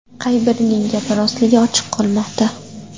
Qay birining gapi rostligi ochiq qolmoqda.